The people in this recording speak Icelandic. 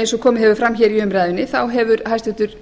eins og komið hefur fram hér í umræðunni hefur hæstvirtur